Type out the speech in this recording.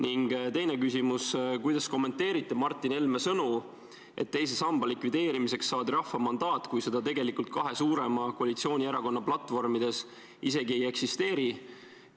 Ning veel üks küsimus: kuidas te kommenteerite Martin Helme sõnu, et teise samba likvideerimiseks saadi rahva mandaat, kui seda tegelikult kahe suurema koalitsioonierakonna platvormis isegi ei eksisteeri?